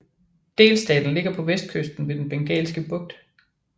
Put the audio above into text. Delstaten ligger på vestkysten ved Den Bengalske Bugt